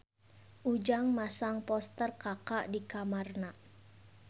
Ujang masang poster Kaka di kamarna